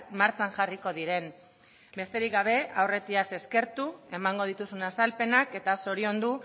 martxan jarriko diren besterik gabe aurretiaz eskertu emango dituzun azalpenak eta zoriondu